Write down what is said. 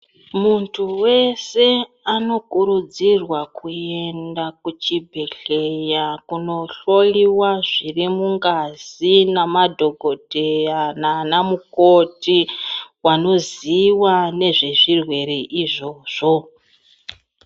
Munthu weshe anokurudzirwa kuenda kuchibhedhlera kunohloyiwa zvirimungazi namadhokodheya nanamukoti wanoziwa nezvezvirwere izvozvo.